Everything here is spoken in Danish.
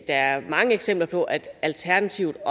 er mange eksempler på at alternativet